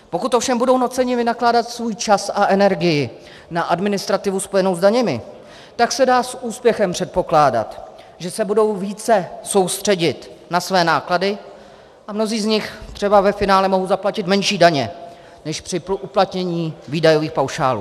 Pokud ovšem budou nuceni vynakládat svůj čas a energii na administrativu spojenou s daněmi, tak se dá s úspěchem předpokládat, že se budou více soustředit na své náklady a mnozí z nich třeba ve finále mohou zaplatit menší daně než při uplatnění výdajových paušálů.